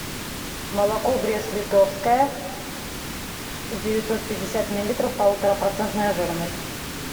молоко брест литовское девятьсот пятьдесят миллилитров полутора процентная жирность